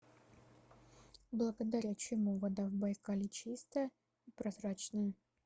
благодаря чему вода в байкале чистая и прозрачная